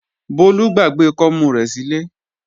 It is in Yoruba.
Bólú gbàgbé kọ́mú rẹ̀ sílé